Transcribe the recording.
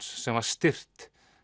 sem var stirt